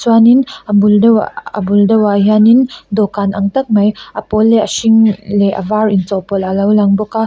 chuanin a bul deuhah a bul deuhah hianin dawhkan ang tak mai a pawl leh a hring leh a var inchawhpawlh a lo lang bawk a.